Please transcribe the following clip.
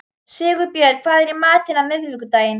Sigurbjörn, hvað er í matinn á miðvikudaginn?